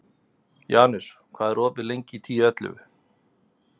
Janus, hvað er opið lengi í Tíu ellefu?